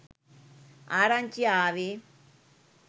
ආරංචිය ආවෙ.